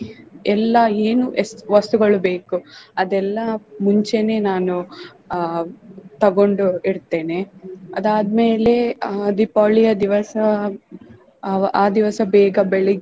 ಎಲ್ಲಾ ಏನು ಎಷ್ಟು ವಸ್ತುಗಳು ಬೇಕು ಅದೆಲ್ಲಾ ಮುಂಚೆನೆ ನಾನು ಆಹ್ ತಗೊಂಡು ಇಡ್ತೇನೆ. ಅದಾದ್ಮೆಲೆ ಆಹ್ ದೀಪಾವಳಿಯ ದಿವಸ ಆಹ್ ಆ ದಿವಸ ಬೇಗ ಬೆಳಗ್ಗೆ